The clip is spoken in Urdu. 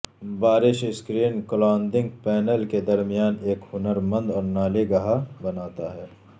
بارش اسکرین کلادنگ پینل کے درمیان ایک ہنر مند اور نالی گہا بناتا ہے